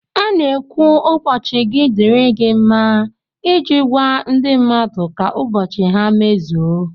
A na-ekwu ụbọchị gi dịri gi mma iji gwa ndị mmadụ ka ụbọchị ha mmezuo